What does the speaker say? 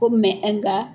Ko nka